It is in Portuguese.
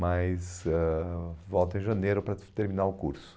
Mas ãh volta em janeiro para terminar o curso.